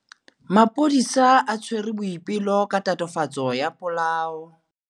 Maphodisa a tshwere Boipelo ka tatofatsô ya polaô.